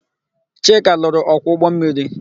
Chika lụrụ ọkwọ ụgbọmmiri.